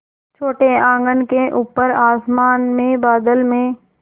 छोटे आँगन के ऊपर आसमान में बादल में